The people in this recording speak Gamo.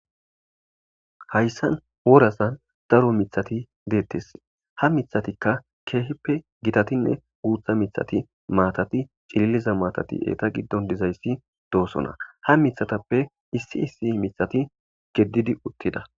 Haysan worazan daro mitati detes ha mitatika kehipe gitatine guta mitati matati c'liliza matati eta gidon dizaysi dosona hamitatape issi issi mitati gedidi utida.